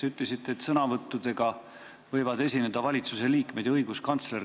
Te ütlesite, et sõna võivad võtta valitsusliikmed ja õiguskantsler.